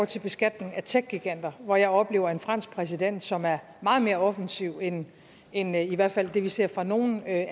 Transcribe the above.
til beskatning af techgiganter hvor jeg oplever en fransk præsident som er meget mere offensiv end end i hvert fald det vi ser fra nogen af